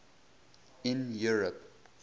in europe